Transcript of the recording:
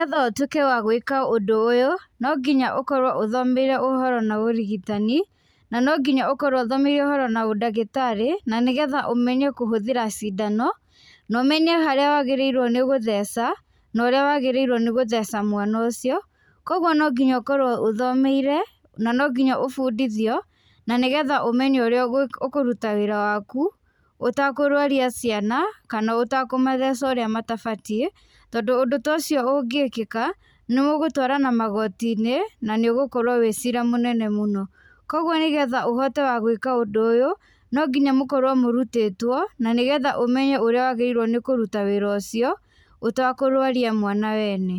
Nĩ getha ũtũĩke wa gwĩka ũndũ ũyũ, no nginya ũkorwo ũthomeire ũhoro na ũrigitani, na no nginya ũkorwo ũthomeire ũhoro na ũndagĩtarĩ, na nĩ getha ũmenye kũhũthĩra cindano ,na ũmenye harĩa wagĩrĩirwo nĩ gũtheca na ũrĩa wagĩrĩirwo nĩ gũtheca mwana ũcio. Kũguo no nginya ũkorwo ũthomeire na no nginya ũbundithio na nĩ getha ũmenye ũrĩa ũkũruta wĩra waku ũtekũrwaria ciana kana ũtakũmatheca ũrĩa matabatiĩ tondũ ũndũ ta ũcio ũngĩkĩka, no gũtwarana magoti-inĩ na nĩ ũgũkorwo wĩ cira mũnene mũno. Kũguo nĩ getha ũhote wa gwĩka ũndũ ũyũ, no nginya mũkorwo mũrutĩtwo na nĩ getha ũmenye ũrĩa wagĩrĩirwo nĩ kũruta wĩra ũcio ũtakũrwaria mwana wene.